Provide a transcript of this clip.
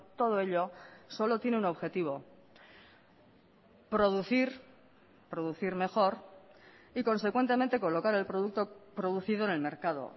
todo ello solo tiene un objetivo producir producir mejor y consecuentemente colocar el producto producido en el mercado